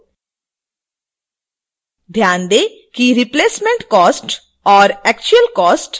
ध्यान दें कि replacement cost और actual cost को एडिट कर सकते हैं